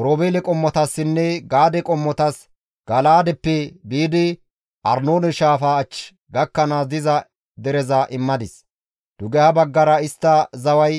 Oroobeele qommotassinne Gaade qommotas Gala7aadeppe biidi Arnoone shaafaa achchi gakkanaas diza dereza immadis; dugeha baggara istta zaway